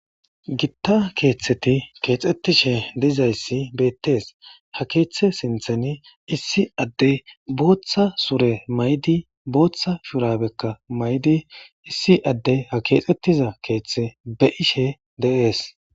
gitta keeththeti keexxettishe dizayssi beettees ha keeththe sintheni issi addey booththa sure maydi booththa shurabekka maydi issi addey ha keexettiza keeththe be ishe deees